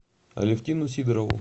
алевтину сидорову